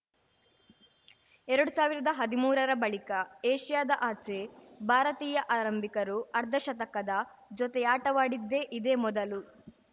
ಎರಡು ಸಾವಿರದ ಹದಿಮೂರರ ಬಳಿಕ ಏಷ್ಯಾದ ಆಚೆ ಭಾರತೀಯ ಆರಂಭಿಕರು ಅರ್ಧಶತಕದ ಜೊತೆಯಾಟವಾಡಿದ್ದೇ ಇದೇ ಮೊದಲು